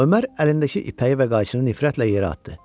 Ömər əlindəki ipəyi və qayçını nifrətlə yerə atdı.